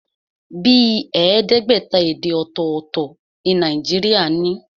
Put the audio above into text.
Bíi ẹẹdẹgbẹta èdè ọ̀tọ̀tọ̀ ni Nàìjíríà ní.